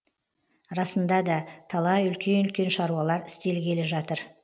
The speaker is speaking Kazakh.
расында да талай үлкен үлкен шаруалар істелгелі жатыр